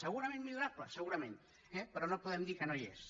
segurament millorable segurament eh però no podem dir que no hi és